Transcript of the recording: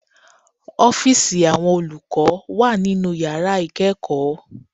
Ọ́fíìsì Àwọn olùkọ́ wà nínu yàrá ìkẹ́ẹ̀kọ̀